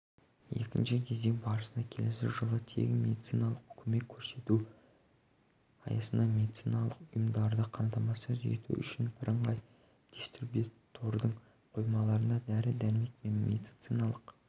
екінші кезең барысында келесі жылы тегін медициналық көмек көрсету аясында медициналық ұйымдарды қамтамасыз ету үшін бірыңғай дистрибьютордың қоймаларына дәрі-дәрмек пен медициналық